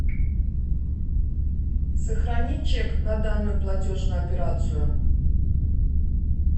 сохрани чек на данную платежную операцию